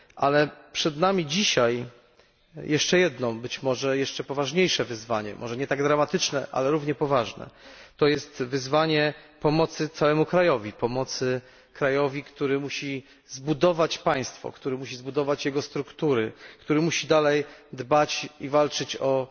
Ale przed nami dzisiaj jeszcze jedno, być może jeszcze poważniejsze wyzwanie, może nie tak dramatyczne, ale równie poważne to jest wyzwanie dotyczące udzielenia pomocy całemu krajowi, który musi zbudować państwo, jego struktury, który musi dalej dbać i walczyć o